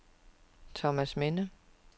Thomasminde